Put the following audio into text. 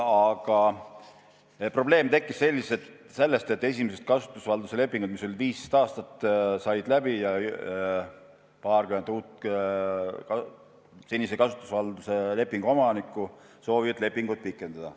Aga probleem tekkis sellest, et esimesed kasutusvalduse lepingud, mis olid 15 aastaks, said läbi ja paarkümmend uut senise kasutusvalduse lepingu omanikku soovivad lepingut pikendada.